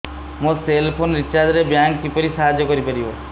ମୋ cell phone recharge ରେ bank କିପରି ସାହାଯ୍ୟ କରିପାରିବ